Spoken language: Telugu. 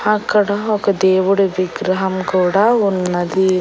అక్కడ ఒక దేవుడి విగ్రహం కూడా ఉన్నది.